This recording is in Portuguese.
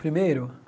Primeiro?